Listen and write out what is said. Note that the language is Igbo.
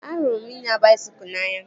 Ahụrụ m ịnya baisikụl n'anya